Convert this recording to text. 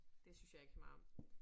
Det synes jeg ikke så meget om